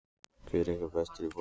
Hver ykkar er bestur í fótbolta?